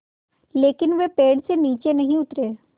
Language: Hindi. लेकिन वे पेड़ से नीचे नहीं उतरे